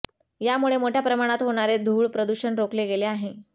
यामुळे मोठय़ा प्रमाणात होणारे धूळ प्रदूषण रोखले गेले आहे